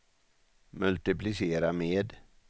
multiplicera med